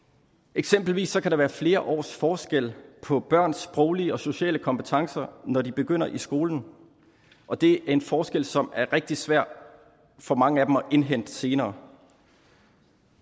eksempelvis kan der være flere års forskel på børns sproglige og sociale kompetencer når de begynder i skole og det er en forskel som er rigtig svær for mange af dem at indhente senere